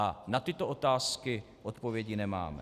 A na tyto otázky odpovědi nemáme.